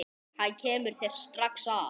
Hann kemur þér strax að.